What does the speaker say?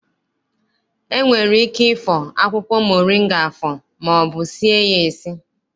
E nwere ike ịfọ akwụkwọ moringa afọ maọbụ sie ya esi.